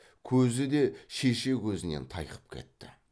көзі де шеше көзінен тайқып кетті